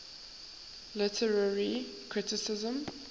literary criticism